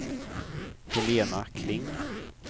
Helena Kling